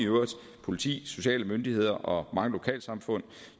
politi sociale myndigheder og mange lokalsamfund